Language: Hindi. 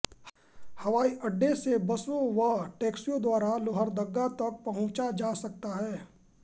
हवाई अड्डे से बसों व टैक्सियों द्वारा लोहरदगा तक पहुंचा जा सकता है